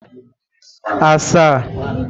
asaa